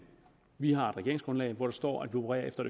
vi har et regeringsgrundlag hvor der står at vi opererer efter